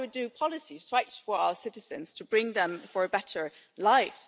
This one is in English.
That is why we do policies to fight for our citizens to bring them a better life.